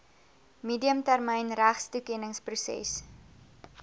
medium termyn regstoekenningsproses